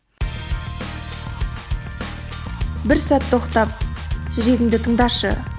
бір сәт тоқтап жүрегіңді тыңдашы